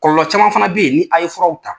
Kɔlɔlɔ caman fana bɛ yen ni a ye furaw ta,